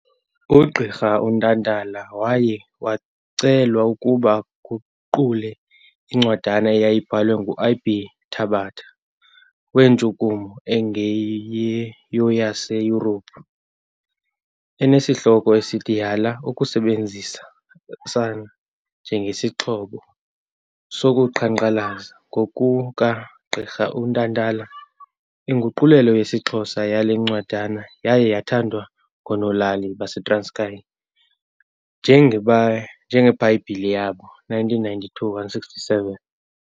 Ugqrirha Ntantala waye wacelwa ukuba aguqule incwadana eyayibhalwe ngu I.B. Tabata wentshukumo engeyoyaseYurophu, enesihloko esithi - Yala ukusebenzisana njengesixhobo sokuqhankqalaza. Ngokuka gqirha uNtantala, Inguqulelo yesiXhosa yalencwadana yaye yathathwa ngoonolali baseTranskayi njengeBhayibhile yabo, 1992:167.